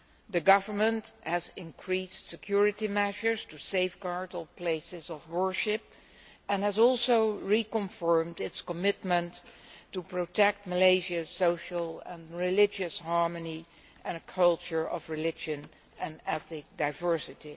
The government has increased security measures to safeguard all places of worship and has also reconfirmed its commitment to protect Malaysia's social and religious harmony and a culture of religious and ethnic diversity.